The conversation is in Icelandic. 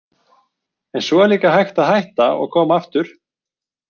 En svo er líka hægt að hætta og koma aftur.